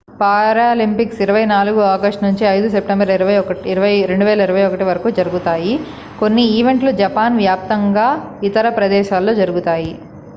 Paralympics 24 August నుంచి 5 September 2021 వరకు జరుగుతాయి కొన్ని ఈవెంట్లు జపాన్ వ్యాప్తంగా ఇతర ప్రదేశాల్లో జరుగుతాయి